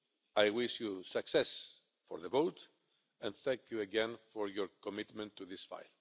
I wish you success for the vote, and thank you again for your commitment to this fight.